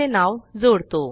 चे नाव जोडतो